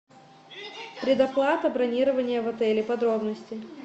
предоплата бронирования в отеле подробности